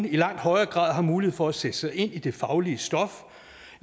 i langt højere grad har mulighed for at sætte sig ind i det faglige stof